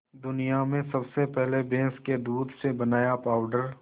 दुनिया में सबसे पहले भैंस के दूध से बनाया पावडर